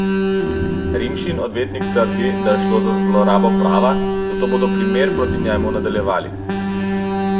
Rimšin odvetnik trdi, da je šlo za zlorabo prava, zato bodo primer proti njemu nadaljevali.